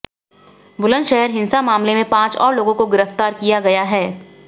बुलंदशहर हिंसा मामले में पांच और लोगों को गिरफ्तार किया गया है